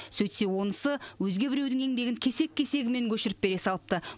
сөйтсе онысы өзге біреудің еңбегін кесек кесегімен көшіріп бере салыпты